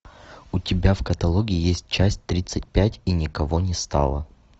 у тебя в каталоге есть часть тридцать пять и никого не стало